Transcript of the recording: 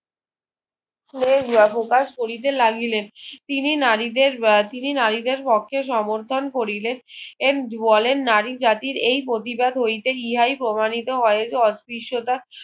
অবকাশ করিতে লাগিলেন তিনি নারীদের আহ তিনি নারীদের পক্ষে সমর্থন করিলেন বলেন নারী জাতির এই প্রতিবাদ হইতে ইহাই প্রমাণিত হয় অত্রিশটা